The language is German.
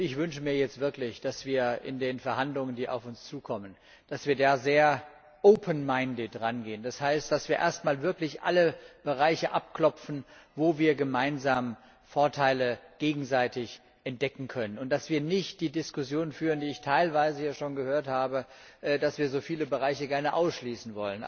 Und ich wünsche mir jetzt wirklich, dass wir an die Verhandlungen, die auf uns zukommen, sehr herangehen. Das heißt, dass wir erst einmal wirklich alle Bereiche daraufhin abklopfen, wo wir gemeinsam gegenseitige Vorteile entdecken können, und dass wir nicht die Diskussion führen, die ich hier teilweise schon gehört habe, dass wir so viele Bereiche gerne ausschließen.